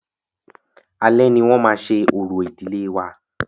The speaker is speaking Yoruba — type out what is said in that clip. Alé ni wọ́n máa ṣe orò ìdílé wa..